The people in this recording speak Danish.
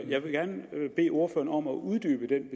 jeg vil gerne bede ordføreren om at uddybe den